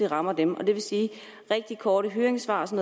rammer dem det vil sige at rigtig korte høringsfrister